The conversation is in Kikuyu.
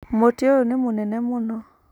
Mũtĩ ũyũ nĩ mũnene mũno